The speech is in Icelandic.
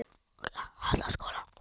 Hún er þó hvergi bangin.